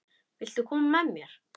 Viltu koma með mér?